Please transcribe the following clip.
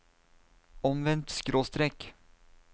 omvendt skråstrek